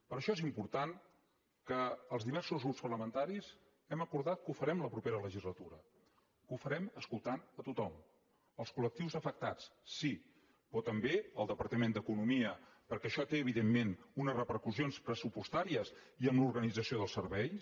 per això és importat que els diversos grups parlamentaris hàgim acordat que ho farem la propera legislatura que ho farem escoltant a tothom els col·lectius afectats sí però també el departament d’economia perquè això té evidentment unes repercussions pressupostàries i en l’organització dels serveis